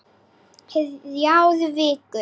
Þrjár vikur.